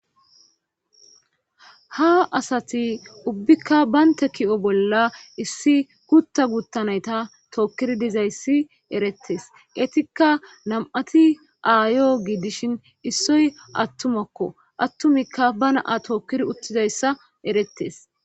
ha asati ubbikka baynte ki7o bolla issi gutta guttanayta tookkiri dizayssi erettes etikka nam7ati aayo giidishin issoy attumakko attumikka ba naa tookkiri uttidayssa erettes